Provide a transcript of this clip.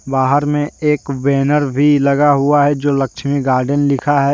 बाहर में एक बैनर भी लगा हुआ है जो लक्ष्मी गार्डन लिखा है।